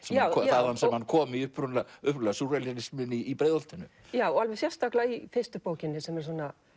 þaðan sem hann kom upprunalega í Breiðholtinu já og alveg sérstaklega í fyrstu bókinni sem er svona